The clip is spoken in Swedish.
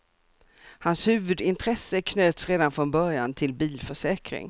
Hans huvudintresse knöts redan från början till bilförsäkring.